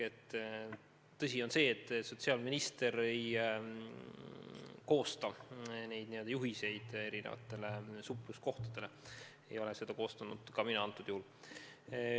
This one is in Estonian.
Tõsi on see, et sotsiaalminister ei koosta juhiseid erinevatele supluskohtadele, ei ole seda korda mina ka konkreetsel juhul kehtestanud.